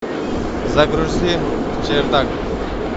загрузи чердак